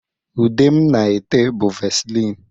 Ude m na-ete bu vasịlịn.